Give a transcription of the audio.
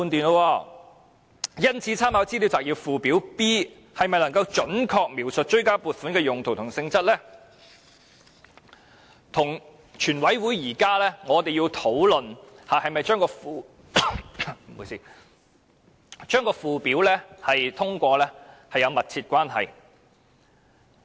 因此，立法會參考資料摘要附件 B 是否能夠準確描述追加撥款的用途和性質，與現時全體委員會討論是否通過將附表納入《條例草案》有密切的關係。